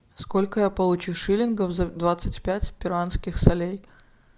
сколько я получу шиллингов за двадцать пять перуанских солей